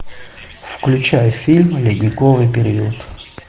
включай фильм ледниковый период